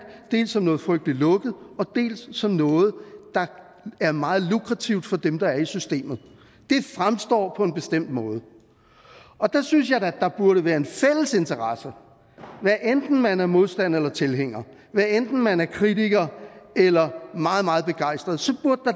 dels som noget frygtelig lukket og dels som noget der er meget lukrativt for dem der er i systemet det fremstår på en bestemt måde og der synes jeg da at der burde være en fælles interesse i hvad enten man er modstander eller tilhænger hvad enten man er kritiker eller meget meget begejstret